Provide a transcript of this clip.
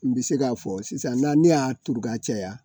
N bɛ se k'a fɔ sisan na ne y'a turu k'a caya